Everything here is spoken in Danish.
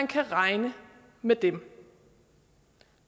kan regne med dem